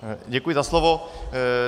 Děkuji za slovo.